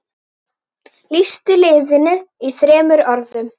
Lýstu liðinu í þremur orðum?